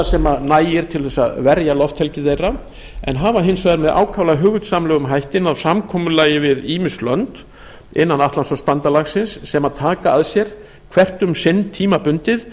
sem nægir til þess að verja lofthelgi þeirra en hafa hins vegar með ákaflega hugvitsamlegum hætti náð samkomulagi við ýmis lönd innan atlantshafsbandalagsins sem taka að sér hvert um sig tímabundið